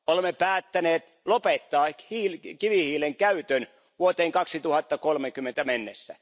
Olemme päättäneet lopettaa kivihiilen käytön vuoteen 2030 mennessä.